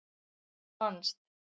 Þú manst.